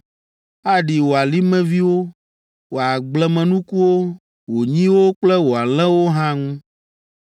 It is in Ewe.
Aɖi wò alimeviwo, wò agblemenukuwo, wò nyiwo kple wò alẽwo hã ŋu.